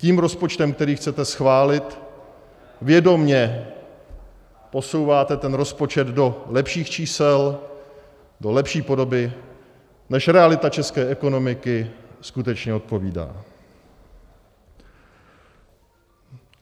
Tím rozpočtem, který chcete schválit, vědomě posouváte ten rozpočet do lepších čísel, do lepší podoby, než realita české ekonomiky skutečně odpovídá.